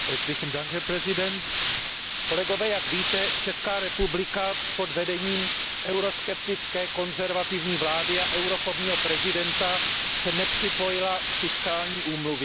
Pane předsedající, kolegové, jak víte, Česká republika pod vedením euroskeptické konzervativní vlády a eurofobního prezidenta se nepřipojila k fiskálnímu paktu.